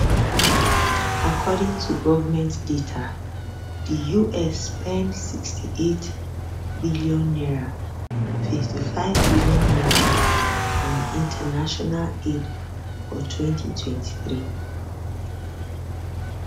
according to government data di us spend 68bn 55bn on international aid for 2023